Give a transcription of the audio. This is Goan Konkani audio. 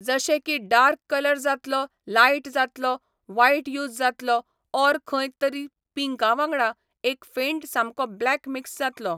जशे की डार्क कलर जातलो, लायट जातलो, वायट यूज जातलो ओर खंय तरी पींका वांगडा एक फेंट सामको ब्लॅक मिक्स जातलो.